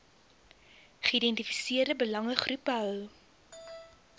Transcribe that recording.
geïdentifiseerde belangegroepe behou